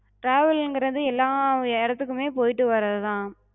travel ங்கறது எல்லா இடத்துக்குமே போயிட்டு வர்றதுதா.